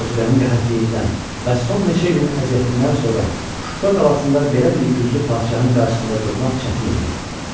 Azüqənin qəhətliyindən və son neçə ilin əziyyətindən sonra Şuşa qalasında belə bir güclü padşahın qarşısında durmaq çətin idi.